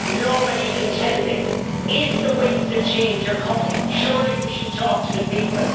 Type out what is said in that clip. Nobody can tell me. If the winds of change are coming, surely we should talk to the people.